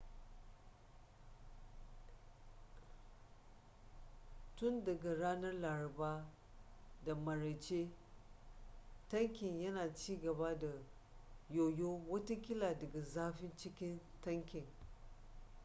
tun daga ranar laraba da maraice tankin yana cigaba da yoyo watakila daga zafin cikin tankin